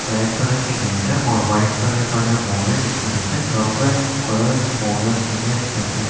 Black colour के gate है और वाइट कलर का जो बोर्ड है जिसपे लिखे हैं गवर्नमेंट ।